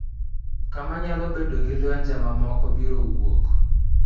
Kama nyalo bedo ni lwenje mamoko biro wuok.